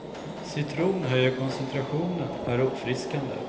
Citron höjer koncentrationen, är uppfriskande.